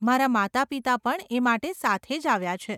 મારાં માતાપિતા પણ એ માટે સાથે જ આવ્યાં છે.